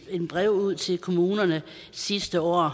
brev ud til kommunerne sidste år